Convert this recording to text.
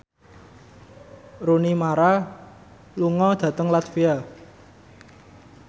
Rooney Mara lunga dhateng latvia